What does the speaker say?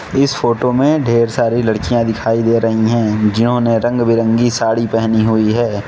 इस फोटो में ढेर सारी लड़कियां दिखाई दे रही हैं जिन्होंने रंग बिरंगी साड़ी पहनी हुई है।